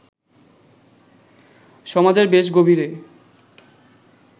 সমাজের বেশ গভীরে